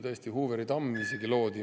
Tõesti, isegi Hooveri tamm loodi …